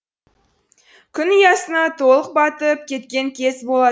күн ұясына толық батып кеткен кез болатын